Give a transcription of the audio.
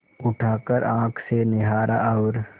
उठाकर आँख से निहारा और